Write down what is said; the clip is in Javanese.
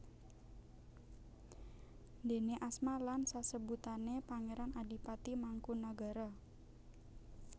Déne asma lan sasebutané Pangéran Adipati Mangkunagara